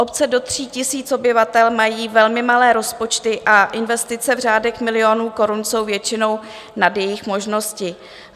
Obce do 3 000 obyvatel mají velmi malé rozpočty a investice v řádech milionů korun jsou většinou nad jejich možnosti.